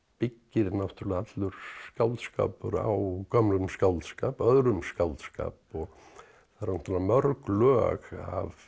byggir náttúrulega allur skáldskapur á gömlum skáldskap öðrum skáldskap og það eru náttúrulega mörg lög af